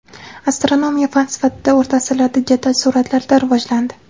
Astronomiya fan sifatida o‘rta asrlarda jadal sur’atlarda rivojlandi.